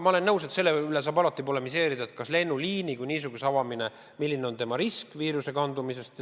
Ma olen nõus, et selle üle saab alati polemiseerida, milline on ühe või teise lennuliini avamisel viiruse edasikandumise risk.